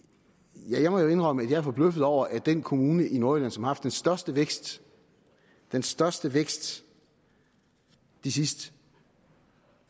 ja jeg må jo indrømme at jeg er forbløffet over at den kommune i nordjylland som har haft den største vækst den største vækst i de sidste